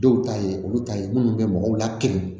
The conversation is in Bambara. Dɔw ta ye olu ta ye minnu bɛ mɔgɔw lakin